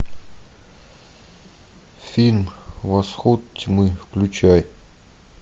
фильм восход тьмы включай